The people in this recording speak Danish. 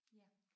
Ja